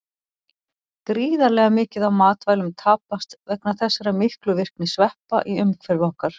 Gríðarlega mikið af matvælum tapast vegna þessara miklu virkni sveppa í umhverfi okkar.